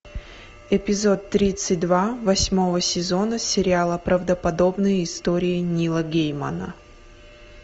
эпизод тридцать два восьмого сезона сериала правдоподобные истории нила геймана